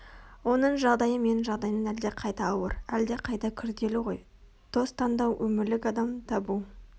оның жағдайы менің жағдайымнан әлдеқайда ауыр Әлдеқайда күрделі ғой дос таңдау өмірлік адам табу